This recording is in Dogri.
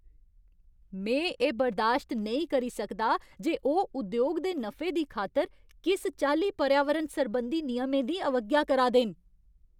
में एह् बर्दाश्त नेईं करी सकदा जे ओह् उद्योग दे नफे दी खातर किस चाल्ली पर्यावरण सरबंधी नियमें दी अवज्ञा करा दे न।